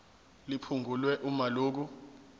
liphungulwe uma lokhu